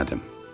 Bilmədim.